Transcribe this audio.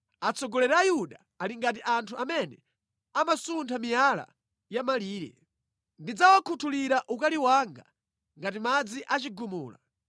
Atsogoleri a Yuda ali ngati anthu amene amasuntha miyala ya mʼmalire. Ndidzawakhutulira ukali wanga ngati madzi a chigumula.